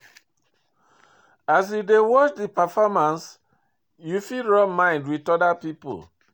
As you dey watch di performance, you fit rub mind with oda pipo